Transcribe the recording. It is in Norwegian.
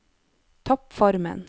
toppformen